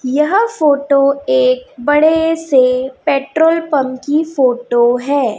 यहां फोटो एक बड़े से पेट्रोल पंप की फोटो है।